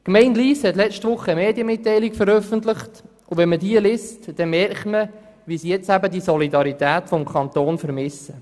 Die Gemeinde Lyss hat vergangene Woche eine Medienmitteilung veröffentlicht, und wenn man diese liest, merkt man, wie sie die Solidarität des Kantons vermisst.